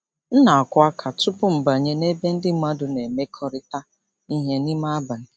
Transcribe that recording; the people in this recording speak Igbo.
M na-akụ aka tupu m abanye n'ebe ndị mmadụ na-emekọrịta ihe n'ime abalị.